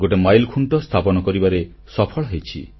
ଗୋଟେ ମାଇଲଖୁଣ୍ଟ ସ୍ଥାପନ କରିବାରେ ସଫଳ ହୋଇଛି